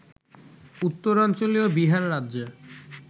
উত্তরাঞ্চলীয় বিহার রাজ্যে